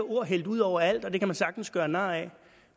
ord hældt ud overalt og det kan man sagtens gøre nar ad